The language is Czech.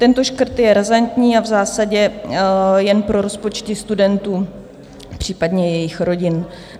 Tento škrt je razantní a v zásadě jen pro rozpočty studentů, případně jejich rodin.